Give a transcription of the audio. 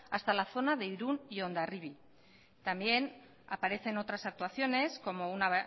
hasta la zona de irún y hondarribi también aparecen otras actuaciones como una